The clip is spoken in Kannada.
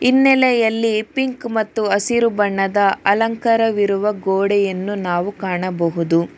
ಹಿನ್ನೇಲೆಯಲ್ಲಿ ಪಿಂಕ್ ಮತ್ತು ಅಸಿರು ಬಣ್ಣದ ಅಲಂಕರ ಇರುವ ಗೋಡೆಯನ್ನು ನಾವು ಕಾಣಬಹುದು.